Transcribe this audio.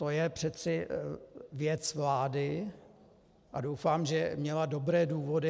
To je přece věc vlády a doufám, že měla dobré důvody.